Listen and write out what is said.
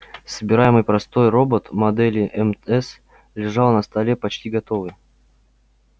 собираемый простой робот модели мс лежал на столе почти готовый